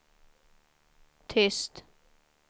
tyst